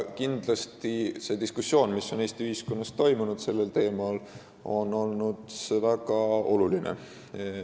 Kindlasti on see diskussioon, mis Eesti ühiskonnas sellel teemal toimunud on, väga oluline.